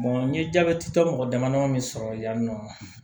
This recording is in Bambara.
n ye jabɛti tɔ mɔgɔ damadama sɔrɔ yan nɔ